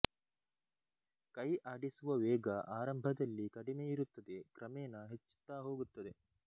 ಕೈ ಆಡಿಸುವ ವೇಗ ಆರಂಭದಲ್ಲಿ ಕಡಿಮೆಯಿರುತ್ತದೆ ಕ್ರಮೇಣ ಹೆಚ್ಚುತ್ತಾ ಹೋಗುತ್ತದೆ